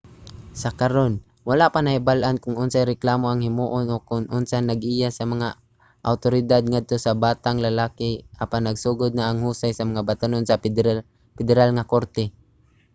sa karon wala pa nahibal-an kon unsay reklamo ang himuon o kon unsa ang naggiya sa mga awtoridad ngadto sa batang lalaki apan nagsugod na ang husay sa mga batan-on sa pederal nga korte